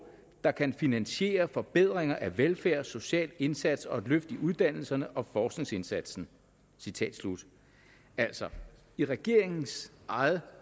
der kan finansiere forbedringer af velfærd social indsats og et løft i uddannelserne og forskningsindsatsen altså i regeringens eget